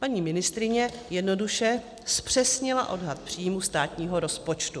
Paní ministryně jednoduše zpřesnila odhad příjmů státního rozpočtu.